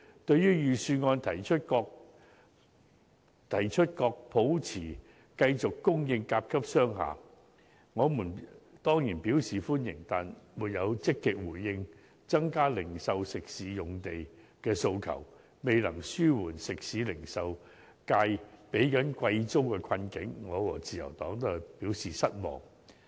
對於預算案提出確保持續供應甲級商廈，我們當然表示歡迎，但當局沒有積極回應增加零售及食肆用地的訴求，未能紓緩食肆及零售業界正在支付貴租的困境，我和自由黨均表示失望。